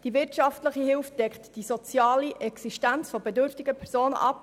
Die wirtschaftliche Hilfe deckt die soziale Existenz bedürftiger Personen ab.